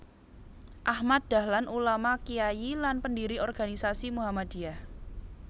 Ahmad Dahlan Ulama Kyai lan pendiri organisasi Muhammadiyah